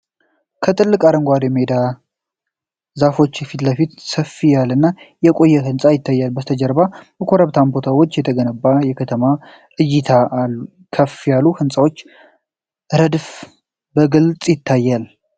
ከትልቅ አረንጓዴ ሜዳና ዛፎች ፊት ለፊት ሰፋ ያለና የቆየ ህንጻ ይታያል። ከበስተጀርባ በኮረብታማ ቦታዎች የተገነባ የከተማ እይታና ከፍ ያሉ የሕንፃዎች ረድፍ በግልጽ ይታያል።